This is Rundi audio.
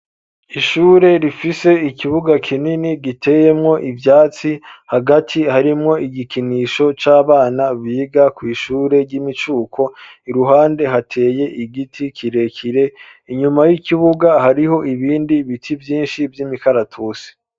Ishure rifise ikibuga kinini giteyemwo ivyatsi hagati harimwo igikinisho c'abana biga kw'ishure ry'imicuko i ruhande hateye igiti kirekire inyuma y'ikibuga hariho ibindi biti vyinshi vy'imikaratusi.